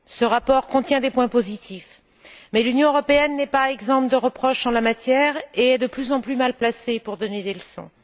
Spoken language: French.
Ce rapport contient des points positifs, mais l'Union européenne n'est pas exempte de reproches en la matière et est de plus en plus mal placée pour donner des leçons.